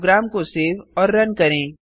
programme को save और run करें